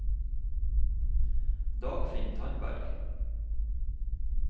Dagfinn Tandberg